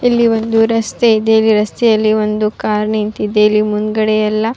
ಇಲ್ಲಿ ಒಂದು ರಸ್ತೆ ಇದೆ ರಸ್ತೆಯಲ್ಲಿ ಒಂದು ಕಾರ್ ನಿಂತಿದೆ ಇಲ್ಲಿ ಮುಂದ್ಗಡೆ ಎಲ್ಲ.